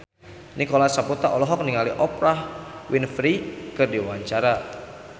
Nicholas Saputra olohok ningali Oprah Winfrey keur diwawancara